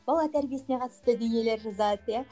бала тәрбиесіне қатысты дүниелер жазады иә